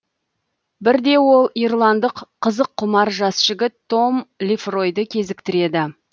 бірде ол ирландық қызыққұмар жас жігіт том лефройды кезіктіреді